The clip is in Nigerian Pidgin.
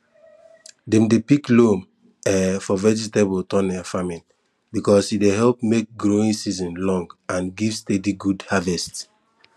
dem dey pick loam um for vegetable tunnel farming because e dey help make growing season long and give steady good harvest